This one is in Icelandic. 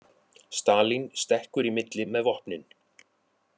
Stalín stekkur í milli með vopnin